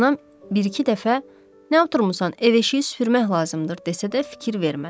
Anam bir-iki dəfə nə oturmusan, ev-eşiyi süpürmək lazımdır desə də fikir vermədim.